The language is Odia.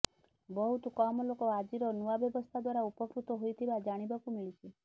ବହୁତ କମ୍ ଲୋକ ଆଜିର ନୂଆ ବ୍ୟବସ୍ଥା ଦ୍ବାରା ଉପକୃତ ହୋଇଥିବା ଜାଣିବାକୁ ମିଳିଛି